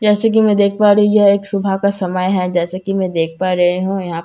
जैसे की मैं देख पा रही यह एक सुबह का समय है जैसे की मैं देख पा रही हूँ यहाँ पर बोहोत सारे--